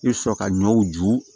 I bɛ sɔrɔ ka ɲɔw ju